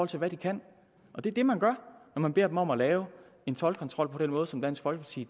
til hvad de kan det er det man gør når man beder dem om at lave en toldkontrol på den måde som dansk folkeparti